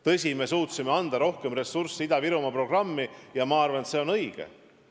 Tõsi, me suutsime eraldada Ida-Virumaa programmi rohkem ressurssi, ja ma arvan, et see on õige.